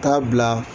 Taa bila